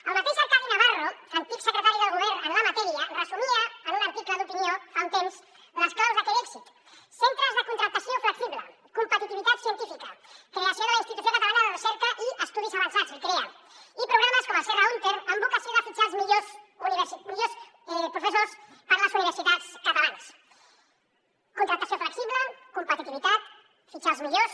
el mateix arcadi navarro antic secretari del govern en la matèria resumia en un article d’opinió fa un temps les claus d’aquell èxit centres de contractació flexible competitivitat científica creació de la institució catalana de recerca i estudis avançats l’icrea i programes com el serra húnter amb vocació de fitxar els millors professors per a les universitats catalanes contractació flexible competitivitat fitxar els millors